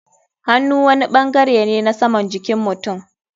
Hannu wani bangare ne na saman jikin mutum.